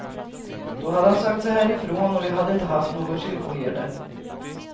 Då hade han sökt sig härifrån och vi hade inte haft någon kyrkoherde.